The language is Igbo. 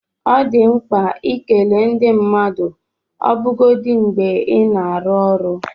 Ọ dị mkpa ikele ndị mmadụ ọbụgodi mgbe ị na-arụ ọrụ.